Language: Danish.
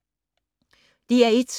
DR1